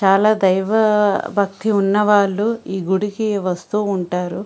చాలా దైవ భక్తి ఉన్నవాళ్లు ఈ గుడికి వస్తూ ఉంటారు.